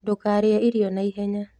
ndūkarīe irio naihenya.